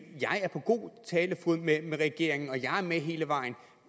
på god talefod med regeringen og er med hele vejen